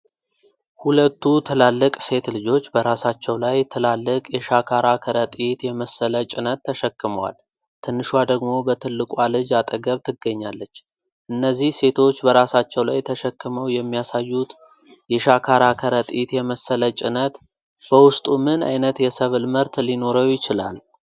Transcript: ሁለቱ ትላልቅ ሴት ልጆች በራሳቸው ላይ ትላልቅ የሻካራ ከረጢት የመሰለ ጭነት ተሸክመዋል፤ ትንሿ ደግሞ በትልቋ ልጅ አጠገብ ትገኛለች። እነዚህ ሴቶች በራሳቸው ላይ ተሸክመው የሚያሳዩት የሻካራ ከረጢት የመሰለ ጭነት በውስጡ ምን አይነት የሰብል ምርት ሊኖረው ይችላል?